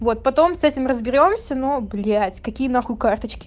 вот потом с этим разберёмся но блять какие нахуй карточки